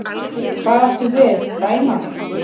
Hvað áttu við, dæma mig?